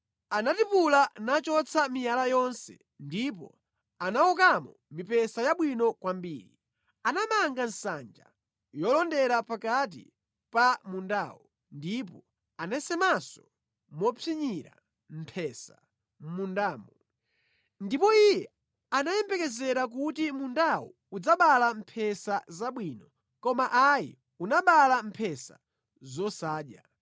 Anatipula nachotsa miyala yonse ndipo anawokamo mipesa yabwino kwambiri. Anamanga nsanja yolondera pakati pa mundawo ndipo anasemanso mopsinyira mphesa mʼmundamo. Ndipo iye anayembekezera kuti mundawo udzabala mphesa zabwino, koma ayi, unabala mphesa zosadya.